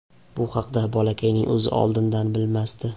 Bu haqda bolakayning o‘zi oldindan bilmasdi.